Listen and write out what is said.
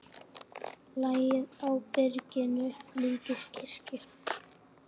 Lagið á byrginu líkist kirkju.